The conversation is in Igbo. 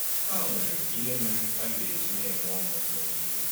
Ha nwere ihe mere ha ga-eji na-enwe ọṅụ mgbe niile.